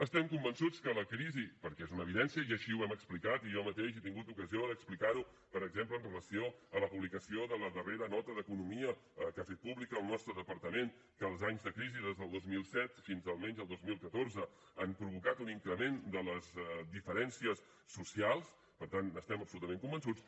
estem convençuts que la crisi perquè és una evidència i així ho hem explicat i jo mateix he tingut ocasió d’explicar ho per exemple amb relació a la publicació de la darrera nota d’economia que ha fet pública el nostre departament que els anys de crisi des del dos mil set fins almenys al dos mil catorze han provocat un increment de les diferències socials per tant n’estem absolutament convençuts